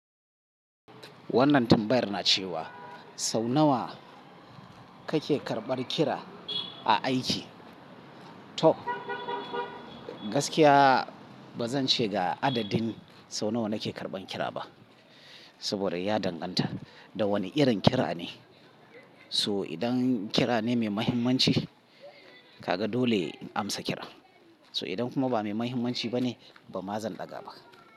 Wannan tambayar na cewa sau nawa kake karɓar kira a aiki? To gaskiya ba zan ce ga adadin sau nawa nake karɓan kira ba, saboda ya danganta da wani irin kira ne. So idan kira ne mai mahimmanci, kaga dole in amsa kira. So idan kuma ba mai mahimmanci ba ne, ba ma zan ɗaga ba.